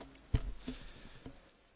Pani przewodnicząca!